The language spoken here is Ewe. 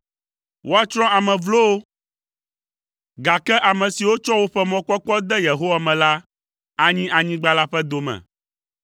Woatsrɔ̃ ame vlowo gake ame siwo tsɔ woƒe mɔkpɔkpɔ de Yehowa me la, anyi anyigba la ƒe dome.